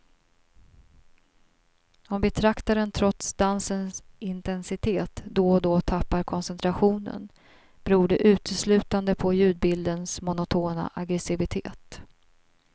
Om betraktaren trots dansens intensitet då och då tappar koncentrationen beror det uteslutande på ljudbildens monotona aggressivitet.